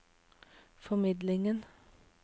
formidlingen